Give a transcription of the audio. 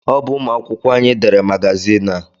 Ọ bụ ụmụ akwụkwọ anyị dere magazin a